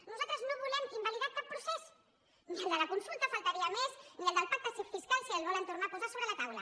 nosaltres no volem invalidar cap procés ni el de la consulta només faltaria ni el del pacte fiscal si el volen tornar a posar sobre la taula